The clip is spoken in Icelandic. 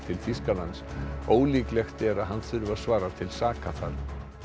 til Þýskalands ólíklegt er að hann þurfi að svara til saka þar